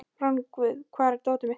Rongvuð, hvar er dótið mitt?